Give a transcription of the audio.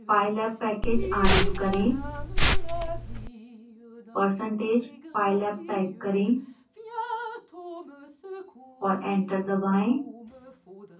pylab package आरंभ करें percentage pylab type करें और एंटर दबाएं